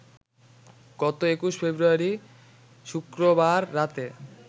গত ২১ ফেব্রুয়ারি শুক্রবার রাতে